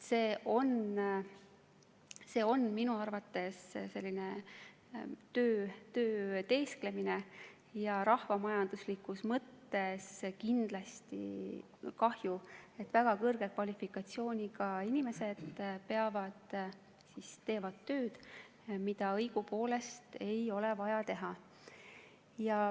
See on minu arvates selline töö teesklemine ja rahvamajanduslikus mõttes on kindlasti kahju, et väga kõrge kvalifikatsiooniga inimesed teevad tööd, mida õigupoolest ei ole vaja teha.